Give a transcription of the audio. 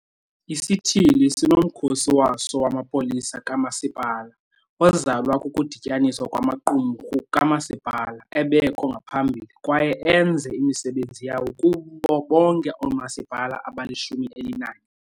Isithili sinomkhosi waso wamapolisa kamasipala, ozalwa kukudityaniswa kwamaqumrhu kamasipala ebekho ngaphambili kwaye enze imisebenzi yawo kubo bonke oomasipala abali-11.